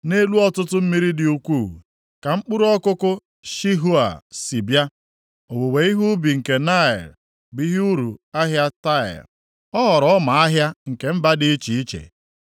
Nʼelu ọtụtụ mmiri dị ukwuu, ka mkpụrụ ọkụkụ Shihoa si bịa, owuwe ihe ubi nke Naịl bụ ihe uru ahịa Taịa, ọ ghọrọ ọma ahịa nke mba dị iche iche.